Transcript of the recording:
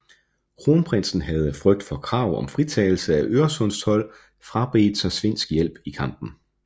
Kronprinsen havde af frygt for krav om fritagelse af øresundstold frabedt sig svensk hjælp i kampen